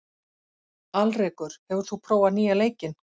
Alrekur, hefur þú prófað nýja leikinn?